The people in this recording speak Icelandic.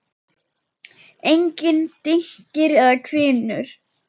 Engir dynkir eða hvinur.